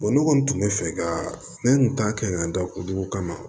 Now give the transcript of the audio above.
ne kɔni tun bɛ fɛ ka ne tun t'a kɛ ka da olu dugu kama